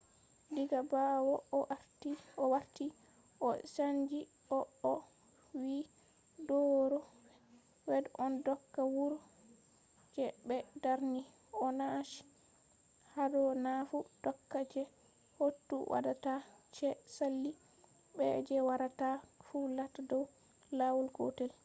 diga ɓawo o warti o chanji ko o wi do ro v. wed on doka wuro je ɓe darni” o nachi hado nafu doka je kotu waɗata je sali be je warata fu latta dow lawol gotel